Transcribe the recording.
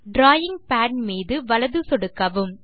drawing pad மீது வலது சொடுக்கவும்